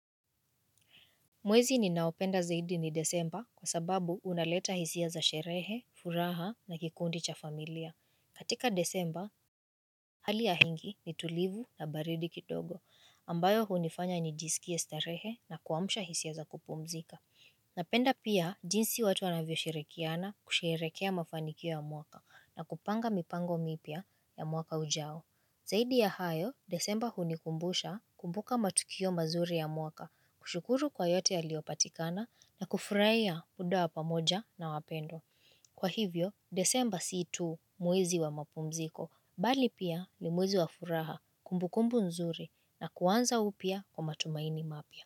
Mwezi ninaopenda zaidi ni desemba kwa sababu unaleta hisia za sherehe, furaha na kikundi cha familia. Katika desemba, hali ya hingi ni tulivu na baridi kitogo ambayo hunifanya nijisikie starehe na kuamsha hisia za kupumzika. Napenda pia jinsi watu wanavyo shirikiana kusherehekea mafanikio ya mwaka na kupanga mipango mipya ya mwaka ujao. Zaidi ya hayo, desemba hunikumbusha kumbuka matukio mazuri ya mwaka, kushukuru kwa yote yaliyopatikana na kufurahia muda wa pamoja na wapendwa. Kwa hivyo, desemba siitu mwezi wa mapumziko, bali pia ni mwezi wa furaha kumbukumbu nzuri na kuanza upya kwa matumaini mapya.